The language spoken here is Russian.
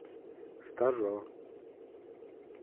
стажер